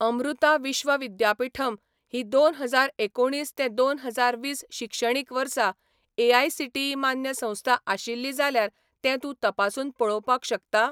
अमृता विश्व विद्यापीठम ही दोन हजार एकुणीस ते दोन हजार वीस शिक्षणीक वर्सा एआयसीटीई मान्य संस्था आशिल्ली जाल्यार तें तूं तपासून पळोवपाक शकता?